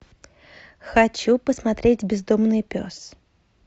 хочу посмотреть бездомный пес